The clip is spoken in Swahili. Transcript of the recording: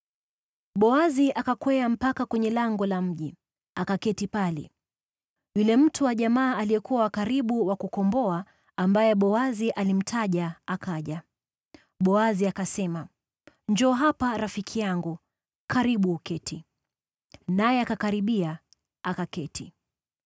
Boazi akakwea mpaka kwenye lango la mji, akaketi pale. Yule mtu wa jamaa aliyekuwa wa karibu wa kukomboa, ambaye Boazi alimtaja, akaja. Boazi akasema, “Njoo hapa, rafiki yangu. Karibu uketi.” Naye akakaribia, akaketi.